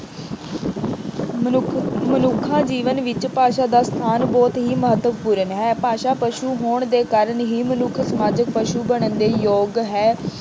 ਮਨੁੱਖ ਅਹ ਮਨੁੱਖੀ ਜੀਵਨ ਵਿੱਚ ਭਾਸ਼ਾ ਦਾ ਸਥਾਨ ਬਹੁਤ ਹੀ ਮਹੱਤਵਪੂਰਨ ਹੈ। ਭਾਸ਼ਾ ਪਸ਼ੂ ਹੋਣ ਦੇ ਕਾਰਨ ਹੀ ਮਨੁੱਖ ਸਮਾਜਿਕ ਪਸ਼ੂ ਬਣਨ ਦੇ ਯੋਗ ਹੈ।